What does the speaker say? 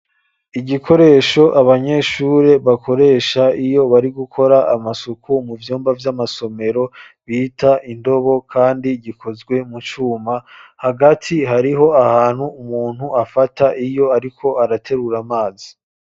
Igikoresho abanyeshure bakoresha iyo bari gukora amasuku mu vyumba vy'amasomero, bita indobo kandi gikozwe mu cuma, hagati hariho ahantu umuntu afata iyo ariko araterura amazi.